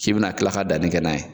K'i bɛ na kila ka danni kɛ n'a ye.